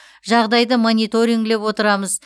жағдайды мониторингілеп отырамыз